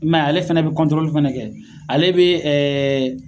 I m'a ye ale fɛnɛ be kɔntorili fɛnɛ kɛ ale be ɛɛ